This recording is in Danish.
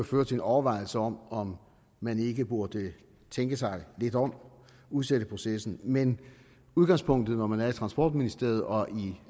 føre til en overvejelse over om man ikke burde tænke sig lidt om og udsætte processen men udgangspunktet når man er i transportministeriet og i